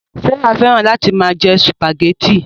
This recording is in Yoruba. Sárà fẹ́ràn láti máa jẹ sùpàgẹ́tì